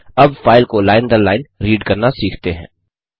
अब फाइल को लाइन दर लाइन रीड करना सीखते हैं